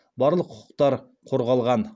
барлық құқықтар қорғалған